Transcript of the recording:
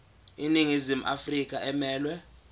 iningizimu afrika emelwe